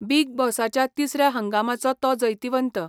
Big बॉसाच्या तिसऱ्या हंगामाचो तो जैतिवंत.